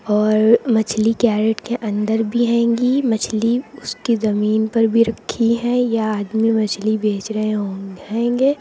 और मछली कैरट के अंदर भी हैंगी मछली उसकी जमीन पर भी रखी है यह आदमी मछली बेच रहे हो हैंगे।